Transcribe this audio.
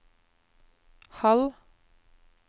halv